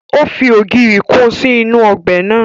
Ó fi ogiri kun sí inú ọbẹ̀ naa